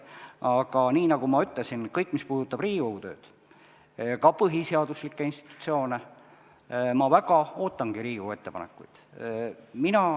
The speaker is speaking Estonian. Aga nagu ma ütlesin, kõige kohta, mis puudutab Riigikogu tööd, ka põhiseaduslikke institutsioone, ma väga ootangi Riigikogu ettepanekuid.